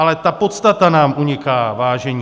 Ale ta podstata nám uniká, vážení.